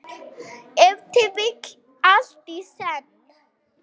Ef til vill allt í senn.